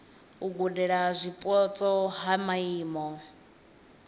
u gudela zwipotso ha maimo